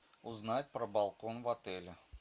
узнать про балкон в отеле